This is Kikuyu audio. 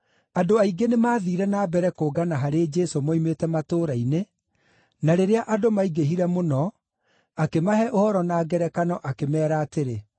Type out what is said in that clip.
Andũ aingĩ nĩmathiire na mbere kũngana harĩ Jesũ moimĩte matũũra-inĩ, na rĩrĩa andũ maingĩhire mũno akĩmahe ũhoro na ngerekano, akĩmeera atĩrĩ,